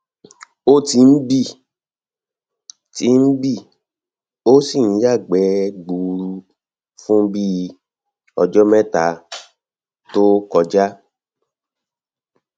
o ti ń bì ti ń bì ó sì ń ya ìgbẹ gbuuru fún bíi um ọjọ mẹta to um kọja